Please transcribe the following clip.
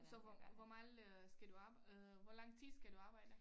Så hvor hvor meget øh skal du arbejde øh hvor lang tid skal du arbejde